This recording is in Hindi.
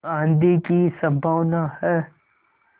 आँधी की संभावना है